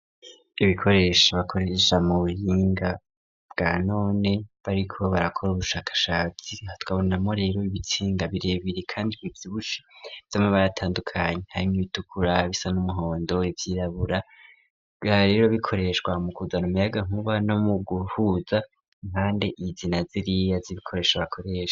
Ibikoresho bakoresha mu buhinga bwa none, bariko barakora ubushakashatsi, aha tukabonamwo rero ibitsinga birebire kandi bivyibushe vy'amabara atandukanye, harimwo ibitukura, ibisa n'umuhondo, ivyirabura, bikaba rero bikoreshwa mukuzana umuyagankuba no mu guhuza impande izi na ziriya z'ibikoresho bakoresha.